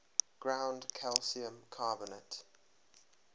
ground calcium carbonate